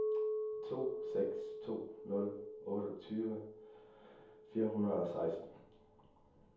to seks to nul otteogtyve fire hundrede og seksten